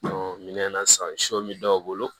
minɛn na sisan su bɛ dɔw bolo